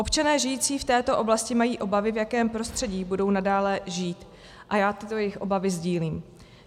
Občané žijící v této oblasti mají obavy, v jakém prostředí budou nadále žít, a já tyto jejich obavy sdílím.